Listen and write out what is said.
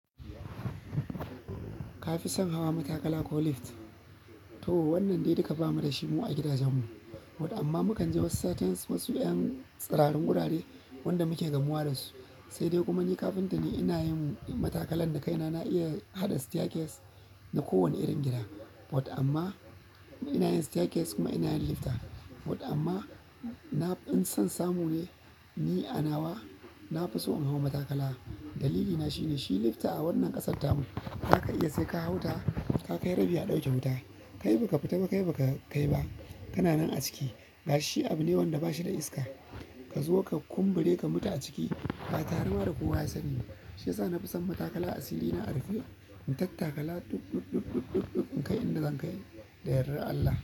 Ka fi son hawa matakala ko lift? To wannan dai duka ba mu da shi mu a gidajenmu, wato amma mu kan ji wasu satuns wasu 'yan tsiraran wurare wanda muke gamuwa dasu. Sai dai kuma ni kafinta ne, ina yin matakalan da kaina. Na iya haɗa staircase na kowane irin gida wato amma ina yin staircase kuma ina yin lifta wato amma na in son samu ne ni a nawa na fi so in hau matakala. Dalilina shine shi lifta a wannan ƙasar tamun za ka iya sai ka hau ta, ka kai rabi a ɗauke wuta. Kai ba ka fita ba, kai ba ka kai ba. Kana nan a ciki. Ga shi abu ne wanda ba shi da iska. Ka zo ka kumbure ka mutu a ciki ba tarema da kowa ya sani ba. Shi yasa na fi son matakala a sirina. A rufe, in tattakala dub, dub, dub, dub, dub, dub in kai inda zan kai da yardar Allah.